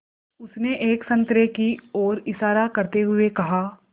उसने एक संतरे की ओर इशारा करते हुए कहा